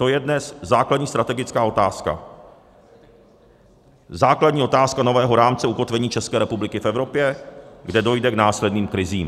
To je dnes základní strategická otázka, základní otázka nového rámce ukotvení České republiky v Evropě, kde dojde k následným krizím.